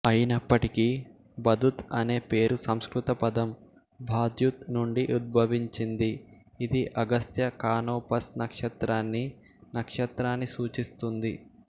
అయినప్పటికీ బదుత్ అనే పేరు సంస్కృత పదం భాద్యుత్ నుండి ఉద్భవించింది ఇది అగస్త్య కానోపస్ నక్షత్రాన్ని నక్షత్రాన్ని సూచిస్తుంది